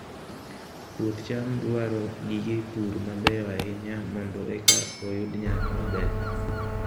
Puoth cham dwaro gige pur mabeyo ahinya mondo eka oyud nyak maber